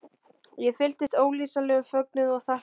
Ég fylltist ólýsanlegum fögnuði og þakklæti.